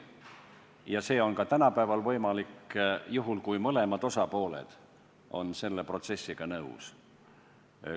Ja see on ka tänapäeval võimalik juhul, kui mõlemad osapooled on selle protsessiga nõus.